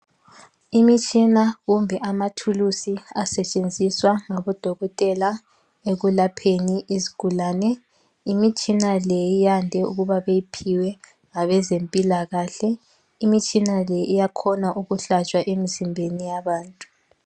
Imitshina kumbe amathuluzi asetshenziswa ngodokotela ekulapheni izigulane. Imitshina le yande ukuba beyiphiwe ngabezempilakahle. Imitshina le iyakhona ukuhlatshwa emzimbeni yabantu.